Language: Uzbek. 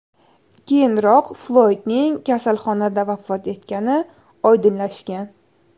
Keyinroq Floydning kasalxonada vafot etgani oydinlashgan.